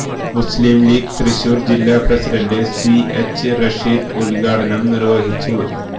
മുസ്ലിം ലീഗ് തൃശൂര് ജില്ലാ president C H Rasheed ഉൽഘടനം നിർവ്വഹിച്ചു